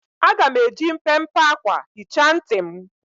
Aga m eji mpempe akwa hichaa ntị m.